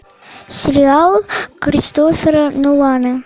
сериал кристофера нолана